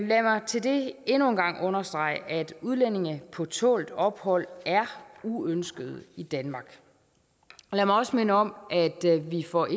lad mig til det endnu en gang understrege at udlændinge på tålt ophold er uønskede i danmark og lad mig også minde om at vi for